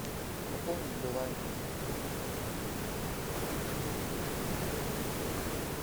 пополнить билайн